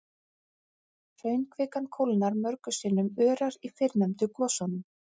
Hraunkvikan kólnar mörgum sinnum örar í fyrrnefndu gosunum.